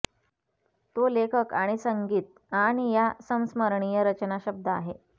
तो लेखक आणि संगीत आणि या संस्मरणीय रचना शब्द आहे